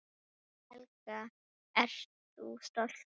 Helga: Ert þú stoltur?